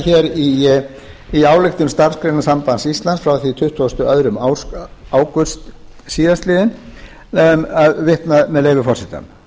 hér í ályktun starfsgreinasambands íslands frá því tuttugasta og önnur ágúst síðastliðinn vitna með leyfi forseta